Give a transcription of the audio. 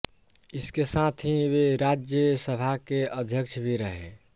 इसके साथ ही वे राज्यसभा के अध्यक्ष भी रहे